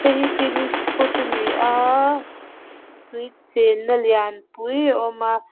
hei hi picnic spot a ni a tui chenna lianpui a awm a.